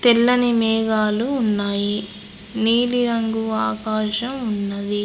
తెల్లని మేఘాలు ఉన్నాయి నీలిరంగు ఆకాశం ఉన్నది.